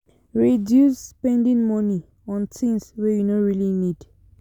Reduce spending money on things wey you no really need